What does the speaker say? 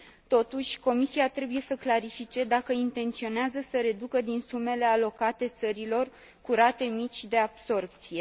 Totuși, Comisia trebuie să clarifice dacă intenționează să reducă din sumele alocate țărilor cu rate mici de absorbție.